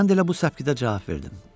Mən də elə bu səpkidə cavab verdim.